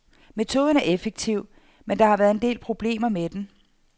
Metoden er effektiv, men der har været en del problemer med den.